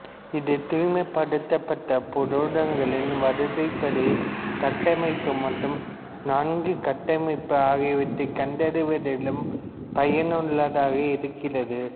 இது தூய்மைப்படுத்தப்பட்ட புரதங்களின் வரிசைப்படி கட்டமைப்பு மற்றும் நான்கிணைய கட்டமைப்பு ஆகியவற்றைக் கண்டறிவதிலும் பயனுள்ளதாக இருக்கிறது